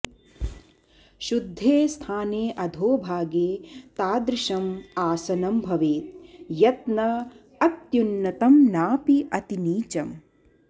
शुद्धे स्थाने अधोभागे तादृशम् आसनं भवेत् यत् न अत्युन्नतं नापि अतिनीचम्